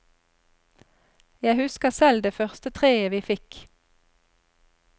Jeg husker selv det første treet vi fikk.